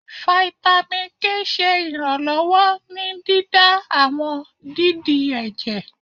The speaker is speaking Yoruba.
Fáítámì K ṣe iranlọwọ ní dídá àwọn dídì ẹjẹ